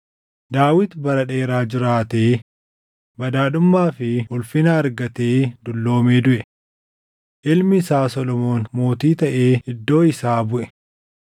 Daawit bara dheeraa jiraatee, badhaadhummaa fi ulfina argatee dulloomee duʼe. Ilmi isaa Solomoon mootii taʼee iddoo isaa buʼe.